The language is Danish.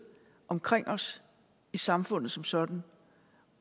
omkring os i samfundet som sådan